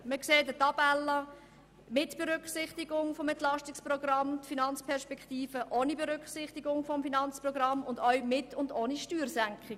Man sieht eine Tabelle mit Berücksichtigung des EP, die Finanzperspektive ohne Berücksichtigung des EP und auch Varianten mit und ohne Steuersenkungen.